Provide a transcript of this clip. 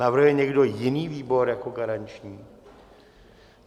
Navrhuje někdo jiný výbor jako garanční?